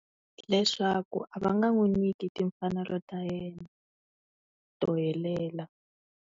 Hi leswaku a va nga n'wi nyiki timfanelo ta yena, to helela.